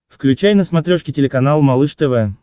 включай на смотрешке телеканал малыш тв